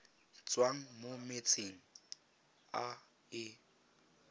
tswang mo metsing a e